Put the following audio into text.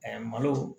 malo